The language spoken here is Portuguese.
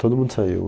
Todo mundo saiu.